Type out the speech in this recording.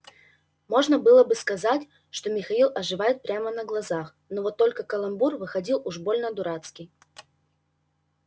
можно было бы сказать что михаил оживает прямо на глазах вот только каламбур выходил уж больно дурацкий